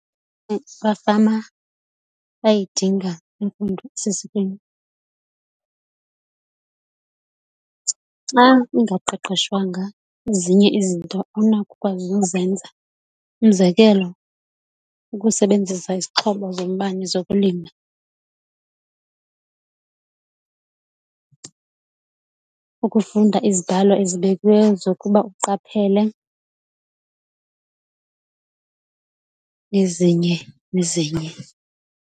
Abafama bayayidinga imfundo esesikweni xa ungaqeqeshwanga ezinye izinto awunakwazi uzenza, umzekelo ukusebenzisa izixhobo zombane zokulima, ukufunda izidalo ezibekiweyo zokuba uqaphele nezinye nezinye.